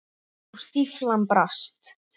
Og stíflan brast.